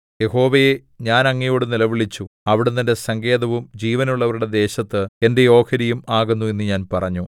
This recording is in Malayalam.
യഹോവേ ഞാൻ അങ്ങയോടു നിലവിളിച്ചു അവിടുന്ന് എന്റെ സങ്കേതവും ജീവനുള്ളവരുടെ ദേശത്ത് എന്റെ ഓഹരിയും ആകുന്നു എന്ന് ഞാൻ പറഞ്ഞു